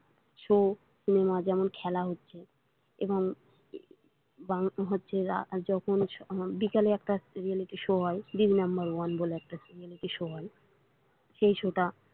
socinema যেমন খেলা হচ্ছে এবং বিকেলে একটা reality show হয় দিদি number one বলে একটা reality show হয় সেই show টা।